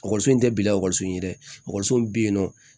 Ekɔliso in tɛ bila ekɔliso in ye dɛ ekɔliso min bɛ yen nɔ